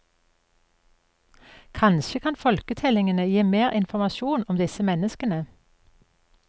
Kanskje kan folketellingene gi mer informasjon om disse menneskene.